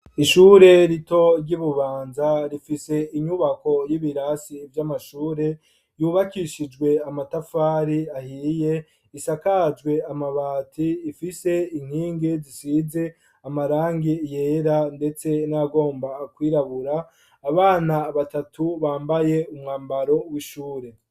Ishure rito ry'i bubanza rifise inyubako y'ibirasi vy'amashure yubakishijwe amatafari ahiriye isakajwe amabati ifise inkingi zisize amarangi yera ndetse n'ayagomba kwirabura, abana batatu bambaye umwambaro w'ishure.